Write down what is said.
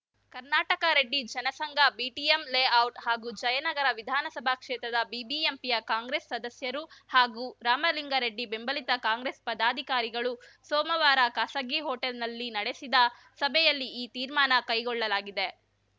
Karnataka Reddy Jana Sangh BTM layout ಹಾಗೂ ಜಯನಗರ ವಿಧಾನಸಭಾ ಕ್ಷೇತ್ರದ ಬಿಬಿಎಂಪಿಯ ಕಾಂಗ್ರೆಸ್‌ ಸದಸ್ಯರು ಹಾಗೂ ರಾಮಲಿಂಗಾರೆಡ್ಡಿ ಬೆಂಬಲಿತ ಕಾಂಗ್ರೆಸ್‌ ಪದಾಧಿಕಾರಿಗಳು ಸೋಮವಾರ ಖಾಸಗಿ ಹೋಟೆಲ್‌ನಲ್ಲಿ ನಡೆಸಿದ ಸಭೆಯಲ್ಲಿ ಈ ತೀರ್ಮಾನ ಕೈಗೊಳ್ಳಲಾಗಿದೆ